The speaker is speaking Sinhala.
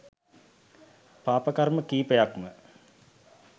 පාප කර්ම කීපයක්ම.